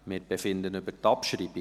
Wir befinden über die Abschreibung.